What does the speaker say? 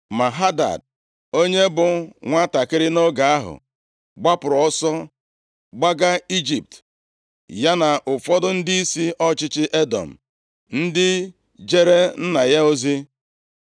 Ma Hadad, onye bụ nwantakịrị nʼoge ahụ, gbapụrụ ọsọ gbaga Ijipt, ya na ụfọdụ ndịisi ọchịchị Edọm, ndị jeere nna ya ozi.